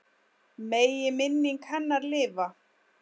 Megi minning hennar lifa.